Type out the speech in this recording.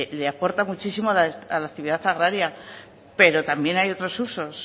le aporta muchísimo a la actividad agraria pero también hay otros usos